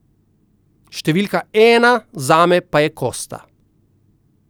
Številka ena zame pa je Kosta.